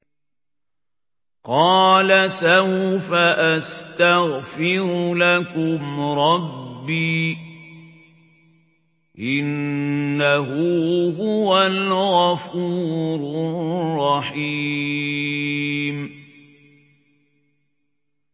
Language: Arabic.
قَالَ سَوْفَ أَسْتَغْفِرُ لَكُمْ رَبِّي ۖ إِنَّهُ هُوَ الْغَفُورُ الرَّحِيمُ